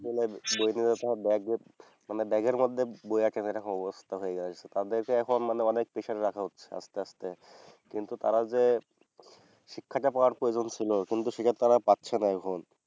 মানে বই নিয়ে যেতে হয় মানে ব্যাগের মধ্যে বই রাখে না এরকম অবস্থা হয়ে দারাইছে। তাদেরকে এখন মানে অনেক প্রেসারে রাখা হচ্ছে আস্তে আস্তে কিন্তু তারা যে শিক্ষাটা পাওয়ার প্রয়োজন ছিল সেটা তারা পাচ্ছে না এখন।